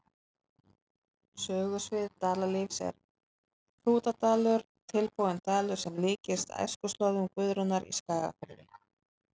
Sögusvið Dalalífs er Hrútadalur, tilbúinn dalur sem líkist æskuslóðum Guðrúnar í Skagafirði.